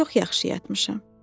Çox yaxşı yatmışam.